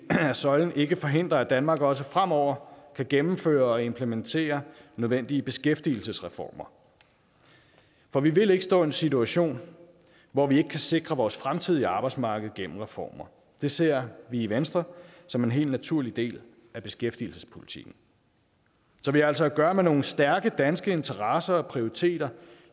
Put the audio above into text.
at søjlen ikke forhindrer at danmark også fremover kan gennemføre og implementere nødvendige beskæftigelsesreformer for vi vil ikke stå i en situation hvor vi ikke kan sikre vores fremtidige arbejdsmarked gennem reformer det ser vi i venstre som en helt naturlig del af beskæftigelsespolitikken så vi har altså at gøre med nogle stærke danske interesser og prioriteter